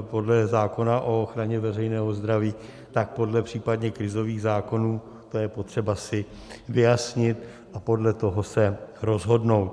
podle zákona o ochraně veřejného zdraví, tak podle případně krizových zákonů, to je potřeba si vyjasnit a podle toho se rozhodnout.